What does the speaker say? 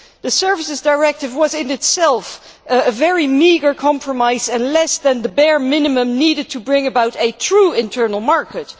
The Services Directive was, in itself, a very meagre compromise and less than the bare minimum needed to bring about a true internal market.